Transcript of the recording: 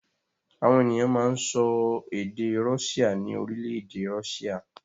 Àwọn ènìyàn máa ń sọ èdè Russia ní orílẹ̀-èdè Russia.